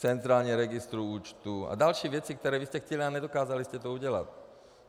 Centrální registr účtů a další věci, které vy jste chtěli a nedokázali jste to udělat.